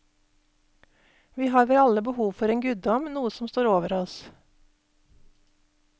Vi har vel alle behov for en guddom, noe som står over oss.